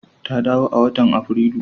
Ta dawo a watan Aprilu.